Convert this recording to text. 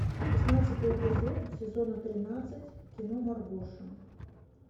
шестнадцатый эпизод сезона тринадцать кино маргоша